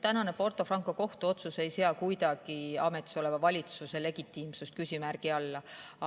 Tänane Porto Franco kohtuotsus ei sea kuidagi ametisoleva valitsuse legitiimsust küsimärgi alla.